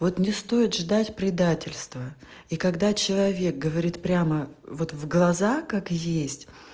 вот не стоит ждать предательство и когда человек говорит прямо вот в глаза как есть